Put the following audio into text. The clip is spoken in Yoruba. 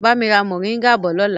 Bami ra moringa bọ̀ lọ́la!